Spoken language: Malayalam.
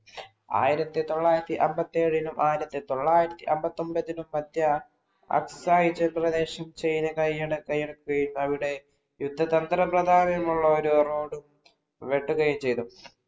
ആയിരത്തിത്തൊള്ളായിരത്തി അമ്പത്തിയേഴിനും ആയിരത്തിതൊള്ളായിരത്തി അമ്പത്തി ഒമ്പതിനും മധ്യേ അവിടെ യുദ്ധതന്ത്ര പ്രവാഹനമുള്ള ഒരു റോഡ്‌വെട്ടുകയും ചെയ്തു.